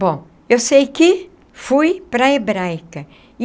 Bom, eu sei que fui para a Hebraica.